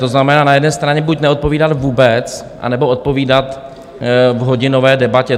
To znamená, na jedné straně buď neodpovídat vůbec, anebo odpovídat v hodinové debatě.